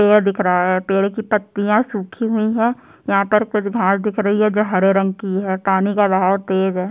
पेड़ दिख रहा है पेड़ की पत्तियां सुखी हुई है यहाँ पर कुछ घास दिख रही है जो हरे रंग की है पानी का बहाव तेज है।